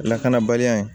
Lakanabaliya in